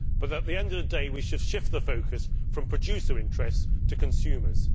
However, at the end of the day, we should shift the focus from producer interests to consumers.